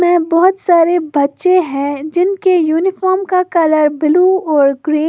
ये बहुत सारे बच्चे हैं जिनके यूनिफॉर्म का कलर ब्लू और ग्रे --